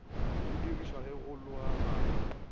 go dirišwa ge go logaganywa